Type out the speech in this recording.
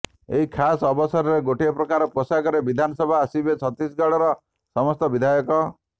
ଏହି ଖାସ ଅବସରରେ ଗୋଟିଏ ପ୍ରକାର ପୋଷାକରେ ବିଧାନସଭା ଆସିବେ ଛତିଶଗଡର ସମସ୍ତ ବିଧାୟକ